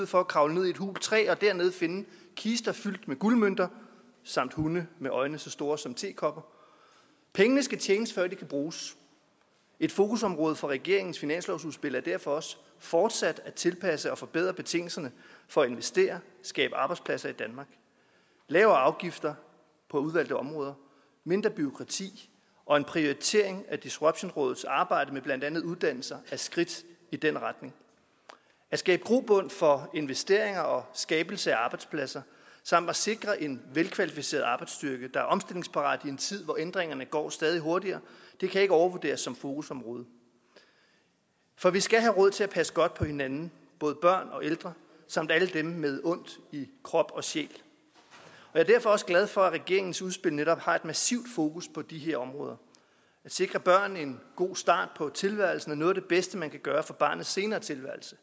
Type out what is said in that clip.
for at kravle ned i et hult træ og dernede finde kister fyldt med guldmønter samt hunde med øjne så store som tekopper pengene skal tjenes før de kan bruges et fokusområde for regeringens finanslovsudspil er derfor også fortsat at tilpasse og forbedre betingelserne for at investere og skabe arbejdspladser i danmark lavere afgifter på udvalgte områder mindre bureaukrati og en prioritering af disruptionrådets arbejde med blandt andet uddannelser er skridt i den retning at skabe grobund for investeringer og skabelse af arbejdspladser samt at sikre en velkvalificeret arbejdsstyrke der er omstillingsparat i en tid hvor ændringerne går stadig hurtigere det kan ikke overvurderes som fokusområde for vi skal have råd til at passe godt på hinanden både børn og ældre samt alle dem med ondt i krop og sjæl jeg er derfor også glad for at regeringens udspil netop har et massivt fokus på de her områder at sikre børn en god start på tilværelsen er noget af det bedste man kan gøre for barnets senere tilværelse